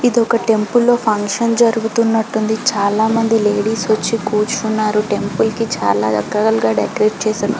ఇది ఒక టెంపుల్ లో ఫంక్షన్ జరుగుతున్నట్టు ఉంది. చలా మంది లేడీస్ వచ్చి కూర్చున్నారు టెంపుల్ కి చాలా రకరకాలుగా డెకరేట్ చేసారు.